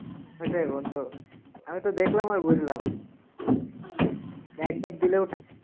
ওইটাই বন্ধু। আমি তো দেখলাম আর বুঝলাম। একধাপ দিলেও টাকা।